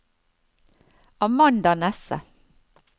Amanda Nesse